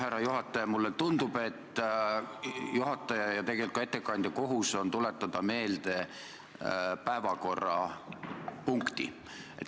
Härra juhataja, mulle tundub, et juhataja ja tegelikult ka ettekandja kohus on tuletada meelde päevakorrapunkti.